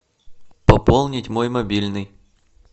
пополнить мой мобильный